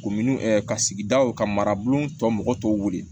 Ko minnu ka sigidaw ka marabulon tɔ mɔgɔw tɔw wele